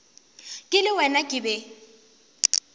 ke le wena ke be